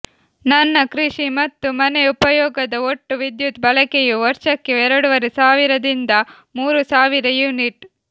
ನನ್ನ ಕೃಷಿ ಮತ್ತು ಮನೆ ಉಪಯೋಗದ ಒಟ್ಟು ವಿದ್ಯುತ್ ಬಳಕೆಯೂ ವರ್ಷಕ್ಕೆ ಎರಡೂವರೆ ಸಾವಿರದಿಂದ ಮೂರು ಸಾವಿರ ಯುನಿಟ್